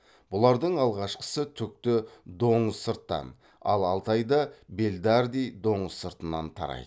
бұлардың алғашқысы түкті доңызсырттан ал алтайда белларди доңызсыртынан тарайды